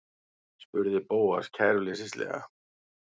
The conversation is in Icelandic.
spurði Bóas kæruleysislega.